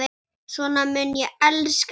Svona mun ég elska þig.